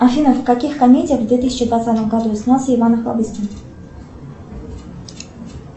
афина в каких комедиях в две тысячи двадцатом году снялся иван охлобыстин